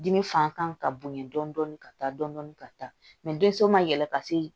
Dimi fan kan ka bonya dɔn dɔn ka taa dɔndɔni ka taa mɛ denso ma yɛlɛ ka se